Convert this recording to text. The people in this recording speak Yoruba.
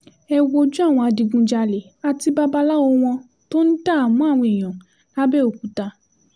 ẹ wojú àwọn adigunjalè àti babaláwo wọn tó ń dààmú àwọn èèyàn làbẹ́ọ̀kúta